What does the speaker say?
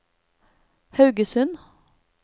Haugesund